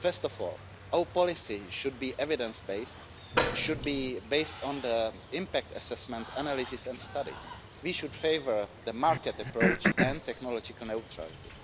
First of all, our policy should be evidence based, should be based on the impact assessment analysis and studies. We should favour the market approach and technological neutrality.